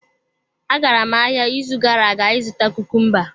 Agara m ahịa n'izu gara aga ịzụta kukumba.